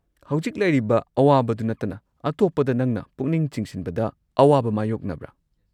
ꯍꯧꯖꯤꯛ ꯂꯩꯔꯤꯕ ꯑꯋꯥꯕꯗꯨ ꯅꯠꯇꯅ ꯑꯇꯣꯞꯄꯗ ꯅꯪꯅ ꯄꯨꯛꯅꯤꯡ ꯆꯤꯡꯁꯤꯟꯕꯗ ꯑꯋꯥꯕ ꯃꯥꯌꯣꯛꯅꯕ꯭ꯔꯥ?